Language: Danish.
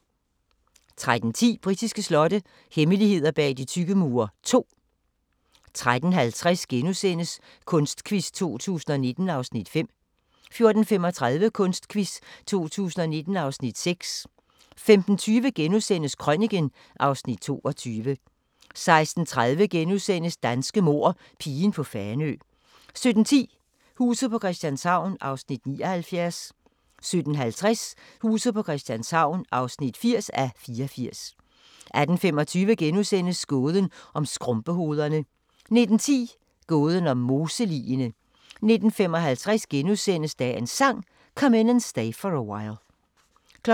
13:10: Britiske slotte – hemmeligheder bag de tykke mure II 13:50: Kunstquiz 2019 (Afs. 5)* 14:35: Kunstquiz 2019 (Afs. 6) 15:20: Krøniken (Afs. 22)* 16:30: Danske mord – pigen på Fanø * 17:10: Huset på Christianshavn (79:84) 17:50: Huset på Christianshavn (80:84) 18:25: Gåden om skrumpehovederne * 19:10: Gåden om moseligene 19:55: Dagens Sang: Come In And Stay For A While *